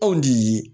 Anw de ye